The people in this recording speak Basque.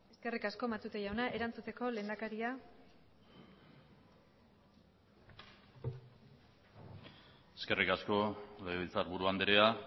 eskerrik asko matute jauna erantzuteko lehendakaria eskerrik asko legebiltzarburu andrea